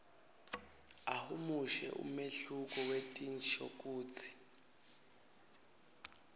ahumushe umehluko wetinshokutsi